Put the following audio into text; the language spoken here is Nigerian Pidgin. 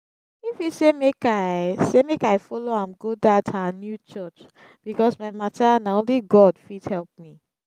ify say make i say make i follow am go dat her new church because my matter na only god fit help me